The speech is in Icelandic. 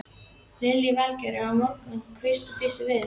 Lillý Valgerður: Og morgundagurinn, hverju býstu við?